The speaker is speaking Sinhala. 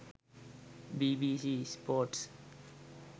bbc sports